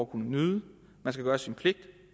kunne nyde man skal gøre sin pligt